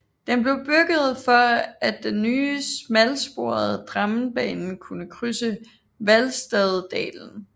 Den blev bygget for at den nye smalsporede Drammenbanen kunne krydse Hvalstaddalen